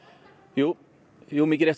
jú jú mikið rétt